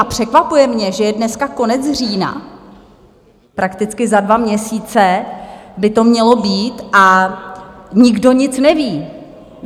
A překvapuje mě, že je dneska konec října, prakticky za dva měsíce by to mělo být a nikdo nic neví.